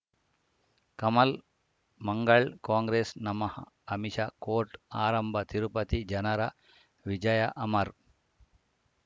ಕಮಲ್ ಮಂಗಳ್ ಕಾಂಗ್ರೆಸ್ ನಮಃ ಅಮಿಷ ಕೋರ್ಟ್ ಆರಂಭ ತಿರುಪತಿ ಜನರ ವಿಜಯ ಅಮರ್